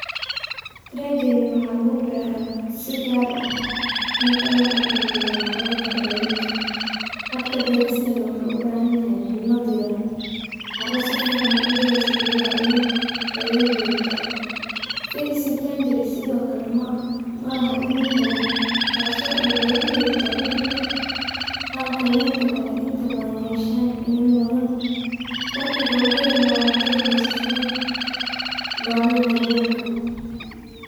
Trageny waxa lagu beraa si gaar ah ,marka loo barbar-dhigo noocyada kale ee liinta ,habka beerista na waxuu u baahan yahay cimila diiraan ,carra sifiican u dayayso biyaha iyo daryeel jogt ah. Finsi tangarine sidokale malaha iniin badan tasoo ay beeralayda jacel yihiin halka liinta kale inta badan yeshaan iniin badan . Farqiga ugu weyn waa mudada goosashada ,baahida daryeelka.